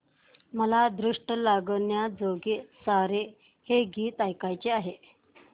मला दृष्ट लागण्याजोगे सारे हे गीत ऐकायचे आहे